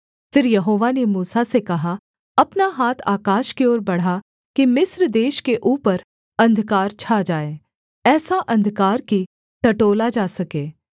फिर यहोवा ने मूसा से कहा अपना हाथ आकाश की ओर बढ़ा कि मिस्र देश के ऊपर अंधकार छा जाए ऐसा अंधकार कि टटोला जा सके